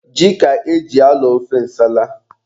Ji ka e ji alọ ofe nsala.